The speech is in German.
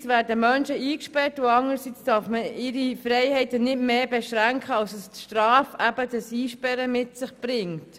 Einerseits werden Menschen eingesperrt und anderseits darf man ihre Freiheiten nicht mehr beschränken als es die Strafe, eben das Einsperren, mit sich bringt.